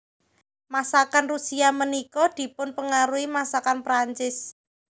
Masakan Rusia ménika dipunpengaruhi masakan Perancis